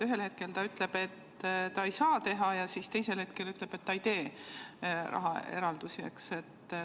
Ühel hetkel ta ütleb, et ta ei saa teha, ja teisel hetkel ütleb, et ta ei tee rahaeraldusi.